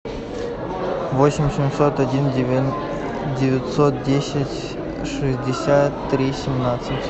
восемь семьсот один девятьсот десять шестьдесят три семнадцать